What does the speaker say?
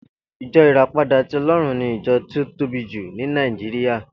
Ijò Iràpádà ti Òlòrún ni ijò ti ó tóbí jú ni Nàijiriá